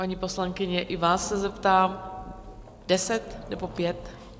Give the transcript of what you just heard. Paní poslankyně, i vás se zeptám - deset, nebo pět?